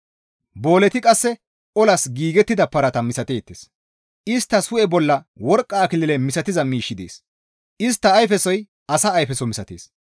Booleti qasse olas giigettida parata misateettes; isttas hu7e bolla worqqa akilile misatiza miishshi dees; istta ayfesoy asa ayfeso misatees.